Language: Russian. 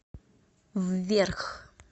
вверх